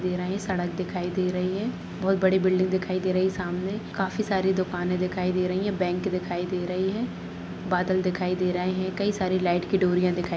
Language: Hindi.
दे रही है सड़क दिखाई दे रही है बहुत बड़ी बिल्डिंग दिखाई दे रही है सामने काफी सारी दुकान दिखाई दे रही हैं एक बैंक दिखाई दे रही है बादल दिखाई दे रहे हैं कई सारे लाइट की डोरियाँ दिखाई --